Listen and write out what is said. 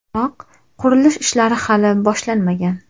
Biroq qurilish ishlari hali boshlanmagan.